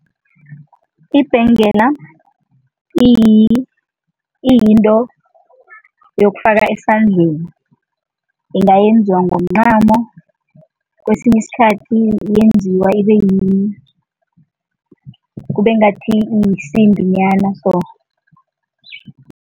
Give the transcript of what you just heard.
Ibhengela, iyinto yokufaka esandleni, ingayenziwa ngomncamo kwesinye isikhathi yenziwa kube ngathi yisimbi nyana so.